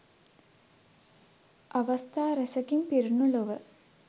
අවස්ථා රැසකින් පිරුණු ලොව